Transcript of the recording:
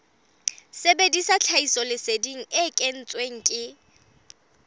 sebedisa tlhahisoleseding e kentsweng ke